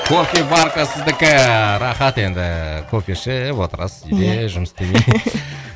кофеварка сіздікі рахат енді кофе ішіп отырасыз иә үйде жұмыс істемей